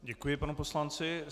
Děkuji panu poslanci.